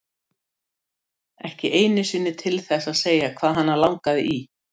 Það mega þær þó eiga mamma og Júlía að þær segja engar slíkar sögur.